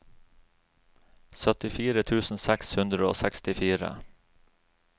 syttifire tusen seks hundre og sekstifire